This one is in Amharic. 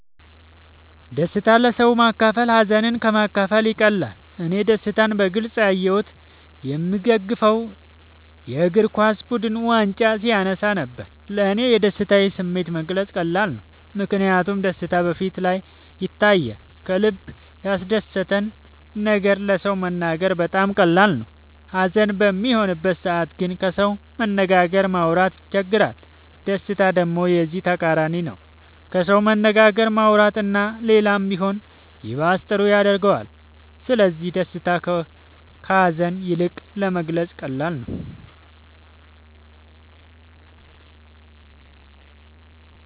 ደስታን ለሰዎች ማካፈል ሀዘንን ከ ማካፈል ይቀላል እኔ ደስታን በግልፅ ያሳየሁት የ ምደግፈው የ እግርኳስ ቡድን ዋንጫ ሲያነሳ ነበር። ለ እኔ የደስታን ስሜት መግለፅ ቀላል ነው ምክንያቱም ደስታ በ ፊቴ ላይ ይታያል ከልበ ያስደሰተን ነገር ለ ሰው መናገር በጣም ቀላል ነው ሀዘን በሚሆንበት ሰዓት ግን ከሰው መነጋገርም ማውራት ይቸግራል ደስታ ደሞ የዚ ተቃራኒ ነው ከሰው መነጋገር ማውራት እና ሌላም ቢሆን ይባስ ጥሩ ያረገዋል ስለዚ ደስታ ከ ሀዛን ይልቅ ለመግለፃ ቀላል ነው።